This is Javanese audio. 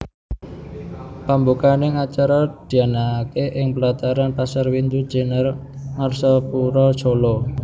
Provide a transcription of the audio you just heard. Pambukaning acara dianakake ing plataran Pasar Windu Jenar Ngarsapura Solo